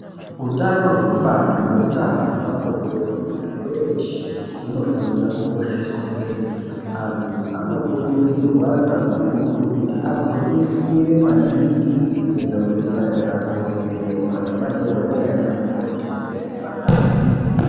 Utano hwekubara neutano hwepabonde hwemuntu weshe unofanirwa kukosheswa kwemene antu anokurudzirwa kakurutu kuti agwinyisire maningi kuenda kuzvipatara kovhenekwa ngemadhokodheya nanamukoti kuvhenekwa ngazi.